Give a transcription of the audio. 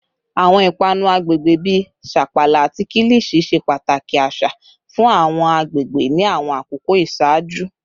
Awọn ipanu agbegbe bi sapala ati kilichi ṣe pataki aṣa fun awọn agbegbe ni awọn akoko iṣaaju